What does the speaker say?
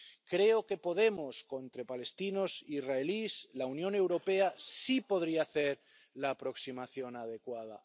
Creo que, entre palestinos e israelíes, la Unión Europea sí podría hacer la aproximación adecuada.